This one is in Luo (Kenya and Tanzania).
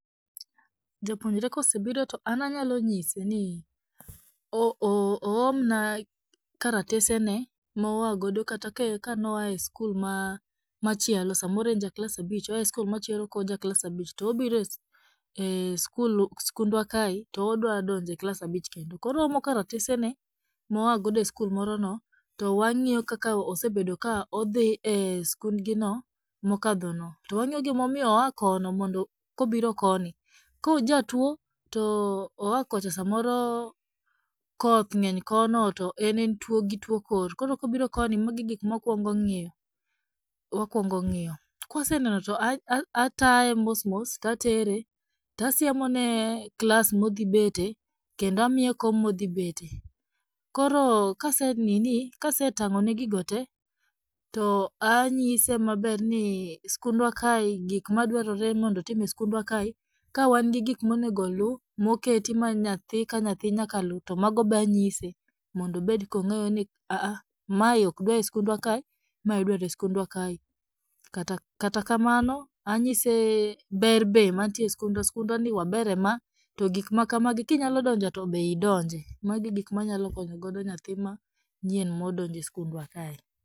Japuonjre kosebiro to an anyalonyise ni, o oo oomna karatesene maoagodo kata kae noa e skul machielo samoro en ja klas abich oa e skul machielo kojaklas abich, to obire e ee skul skundwakae to odwadonje klas abich kendo, koro oomo karatesene moa godo e skul morono to wang'iyo kaka osebedo kaka odhii e skundgi noo mokadhono, to wang'iyo gimomiyo oa kono mondo kobiro koni, kojatuo, to oakocha samoro koth ng'eny kono to en entwo gi two kor, koro kobiro koni magi e gikmawakwongo ng'iyo, wakwongo ng'iyo. Kwaseneno to ataye mos mos tatere, tasiemone klas modhibete, kendo amiye kom modhibete, koro kase nini kasetang'one gigo tee, to anyise maber ni skundwakae gikmadwarore mondo otim e skundwakae ka wangi gikmonego oluu moketi ma nyaka nyathii ka nyathii nyaka luu, to mago be anyise mondo obed kong'eyo ni aah aah mae okdwa e skundwakae mae idwearoe skundwakae, kata kamano anyise ber be mantie eskundwa, skundwani waber e maa to gikmakamagi kinyalodonje be idonje. Magi e gikma anyalo konyogodo nyathii manyien modonjo e skundwa kae.